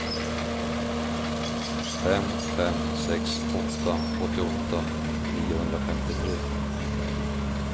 fem fem sex åtta åttioåtta niohundrafemtiotre